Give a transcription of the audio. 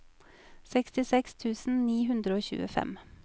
sekstiseks tusen ni hundre og tjuefem